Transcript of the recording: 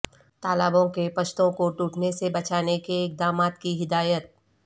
تالابوں کے پشتوں کو ٹوٹنے سے بچانے اقدامات کی ہدایت